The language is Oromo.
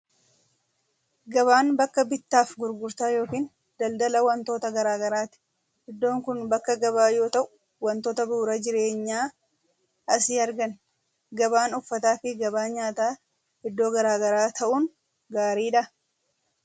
Gabaan bakka bittaa fi gurgurtaa yookiin daldala wantoota garaa garaati. Iddoon kun bakka gabaa yoo ta'u, wantoota bu'uura jireenyaa asii arganna. Gabaan uffataa fi gabaan nyaataa iddoo garaa garaa ta'uun gaariidhaa?